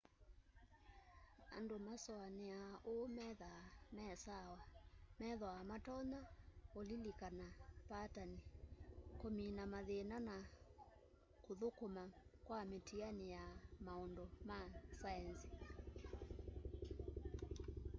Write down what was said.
andu masuaniaa uu methwaa me sawa methwaa matonya ulilikana patani kumina mathina na kuthukuma kwa mitiani ya maundu ma saenzi